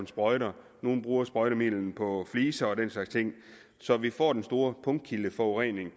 sprøjter nogle bruger sprøjtemidler på fliser og den slags ting så vi får den store punktkildeforurening